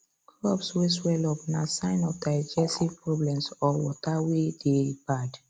crops way swallow up na sign of digestive problem or water way dey bad